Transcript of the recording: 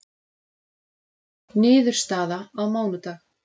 Niðurstaða á mánudag